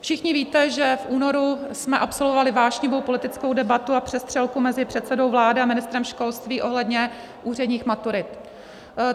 Všichni víte, že v únoru jsme absolvovali vášnivou politickou debatu a přestřelku mezi předsedou vlády a ministrem školství ohledně úředních maturit.